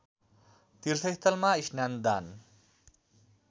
तीर्थस्थलमा स्नान दान